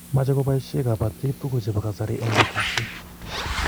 Mache kobaishe kabatik tuguk chebo kasari eng' batishet